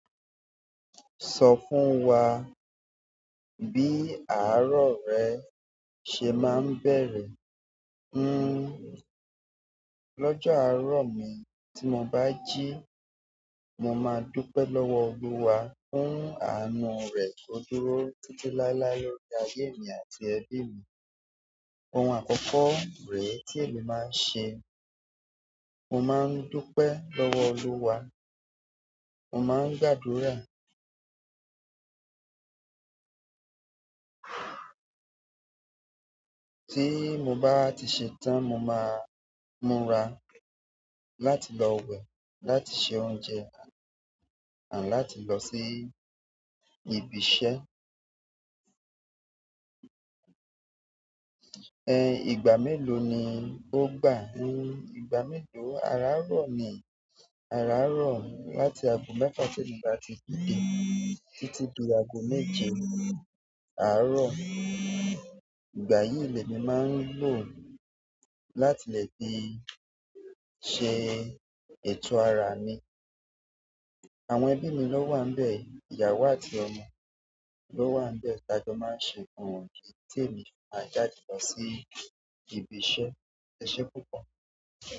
Sọ fún wa bí àárọ̀ rẹ ṣe máa ń bẹ̀rẹ̀? Lọ́jọ́ àárọ̀ mi tí mo bá jí, mo máa dúpẹ́ lọ́wọ́ Olúwa fún àánú rẹ̀ tó dúró títí láéláé lórí ayé mi àti ẹbí mi. Ohun àkọ́kọ́ rèé tí èmi máa ń ṣe, mo máa ń dúpẹ́ lọ́wọ́ Olúwa, mo máa ń gbàdúrà. Tí mo bá ti ṣe tán, mo máa múra láti lọ wẹ̀, láti se oúnjẹ àti láti lọ sí ibi iṣẹ́. Ìgbà mélòó ni o gbá? Ìgbà mélo. Àrarọ̀ mi, àrárọ̀ láti ago mẹ́fa tí emi bá ti dídé títí di ago méje àárọ̀. Ìgbà yìí, lèmi máa ń lò láti lè fi ṣe ètò ara mi. Àwọn ẹbí mi ló wà nbẹ̀, ìyàwó àti ọmọ ló wà níbẹ̀. Tajo máa ń ṣe fún wọn tí èmi sì maa jáde lọ sí ibi iṣẹ́. Ẹ̀ṣẹ̀ púpọ̀.